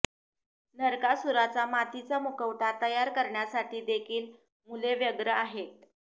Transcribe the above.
नरकासुराचा मातीचा मुखवटा तयार करण्यासाठी देखील मुले व्यग्र आहेत